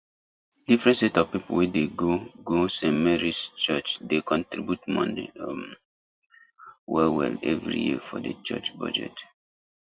different set of people wey dey go go stmarys church dey contribute money um well well every year for the church budget